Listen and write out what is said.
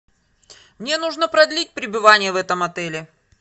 мне нужно продлить пребывание в этом отеле